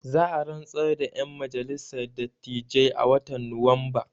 Za a rantsar da ƴan majalissar dattijai a watan nuwamba